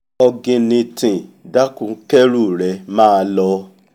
ọ̀gìnìntìn dákun kẹ́rù rẹ máa lọ